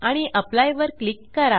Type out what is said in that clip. apply वर click करा